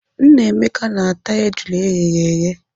Nnameka na-ata ejula eghere eghe.